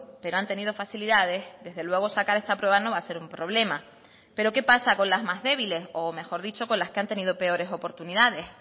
pero han tenido facilidades desde luego sacar esta prueba no va a ser un problema pero qué pasa con las más débiles o mejor dicho con las que han tenido peores oportunidades